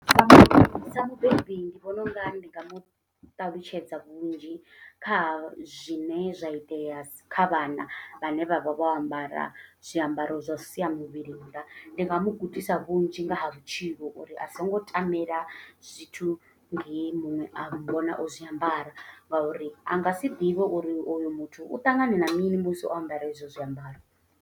Sa sa mubebi ndi vhona unga ndi nga mu ṱalutshedza vhunzhi. Kha zwine zwa itea kha vhana vhane vha vha vho ambara zwiambaro zwo sia muvhili nnḓa. Ndi nga mugudisa vhunzhi nga ha vhutshilo uri a songo tamela zwithu ngehe muṅwe a vhona o zwiambara. Nga uri a nga si ḓivhe uri oyo muthu u ṱangana na mini musi o ambara e zwo zwiambaro.